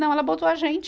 Não, ela botou a gente